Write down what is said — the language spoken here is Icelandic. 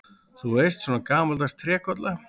Þú veist, svona gamaldags trékolla.